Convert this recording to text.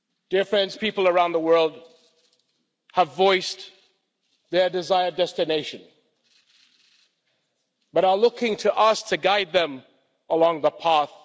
Dear friends, people around the world have voiced their desired destination but are looking to us to guide them along the path